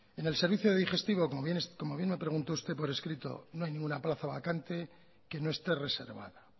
en el servicio de digestivo como bien me preguntó usted por escrito no hay ninguna plaza vacante que no esté reservada